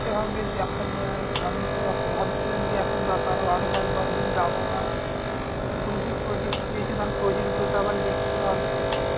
করতে হবে দেখা যায় আমি তো এখন ভাবছিলাম যে এখন দশ আরো আরো দশ বারো দিন যাবো না। এখন বলছে project project গুলো তো আবার লিখতে হবে।